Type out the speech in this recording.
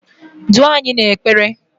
duo anyị n'ekpere!